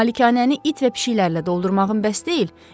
Malikanəni it və pişiklərrlə doldurmağın bəs deyil?